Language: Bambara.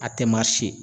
A tɛ marise